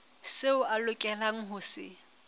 seo a lokelang ho se